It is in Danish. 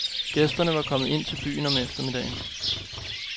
Gæsterne var kommet ind i byen om eftermiddagen.